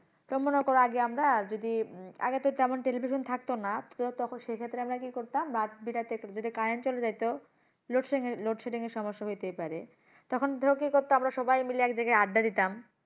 তো মনে করো আগে আমরা যদি উম আগে তো তেমন television থাকতো না, তো তখন সেই ক্ষেত্রে আমরা কি করতাম? রাত বেড়াতে যদি current চলে যেতো load shedding এর সমস্যা হইতেই পারে, তখন ধরো কি করতো, আমরা সবাই মিলে এক জায়গায় আড্ডা দিতাম।